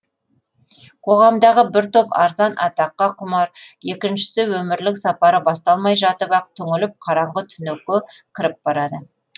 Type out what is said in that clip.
қоғамдағы бір топ арзан атаққа құмар екіншісі өмірлік сапары басталмай жатып ақ түңіліп қараңғы түнекке кіріп барады